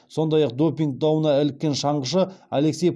сондай ақ допинг дауына іліккен шаңғышы алексей